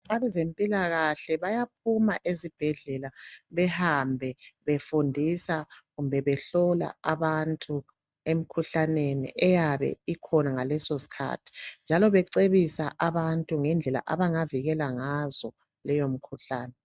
Abezempilakahle bayaphuma ezibhedlela behambe befundisa kumbe behlola abantu emkhuhlaneni eyabe ikhona ngaleso skhathi . Njalo becebisa abantu ngendlela abangavikela ngazo leyomkhuhlane.